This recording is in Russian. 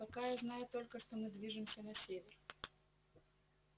пока я знаю только что мы движемся на север